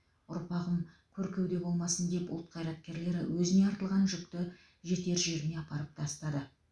ұрпағым көркеуде болмасын деп ұлт қайраткерлері өзіне артылған жүкті жетер жеріне апарып тастады